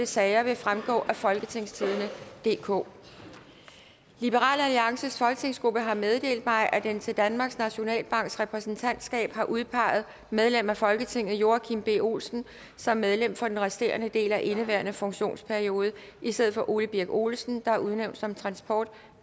sager vil fremgå af folketingstidende DK liberal alliances folketingsgruppe har meddelt mig at den til danmarks nationalbanks repræsentantskab har udpeget medlem af folketinget joachim b olsen som medlem for den resterende del af indeværende funktionsperiode i stedet for ole birk olesen der er udnævnt som transport